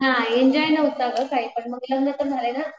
हा एन्जॉय नव्हता ग काही पण मग लग्न तर झाले ना.